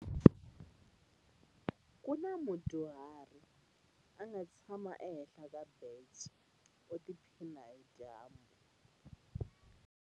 Ku na mudyuhari a nga tshama ehenhla ka bence u tiphina hi dyambu.